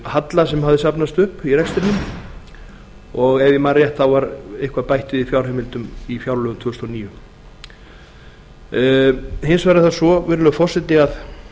halla sem hafði safnast upp í rekstrinum og ef ég man rétt var eitthvað bætt við í fjárheimildum í fjárlögum tvö þúsund og níu hins vegar er það svo virðulegur forseti að